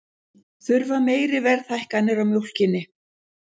Þurfa meiri verðhækkanir á mjólkinni